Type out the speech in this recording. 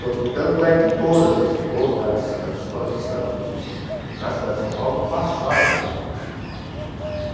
Tanto é que todas as todas as escolas de samba que existem na cidade de São Paulo passaram pela UESP.